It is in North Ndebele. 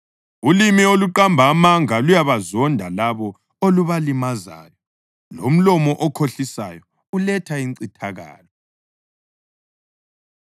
Ulimi oluqamba amanga luyabazonda labo olubalimazayo, lomlomo okhohlisayo uletha incithakalo.